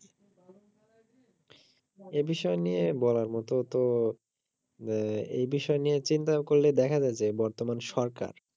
এ বিষয় নিয়ে বলার মতো তো এই বিষয় নিয়ে চিন্তা করলে দেখা যায় যে বর্তমান সরকার